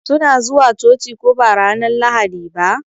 Su na zuwa coci ko ba ranar Lahadi ba?